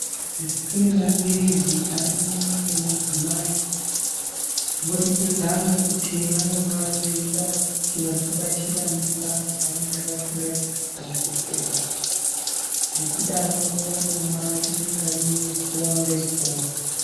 Kune maphirizi anomwiva ngemadzimai kubudikidza ngekuti vanenge veida kuti vasabatira mimba dzavanenge vasingazi kurongedzera. Ngekudaro vanomwa rimwe ngarimwe zuwa ngezuwa.